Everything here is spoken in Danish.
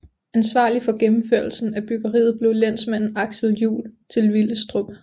Ansvarlig for gennemførelsen af byggeriet blev lensmanden Axel Juul til Villestrup